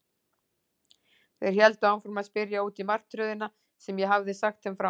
Þeir héldu áfram að spyrja út í martröðina sem ég hafði sagt þeim frá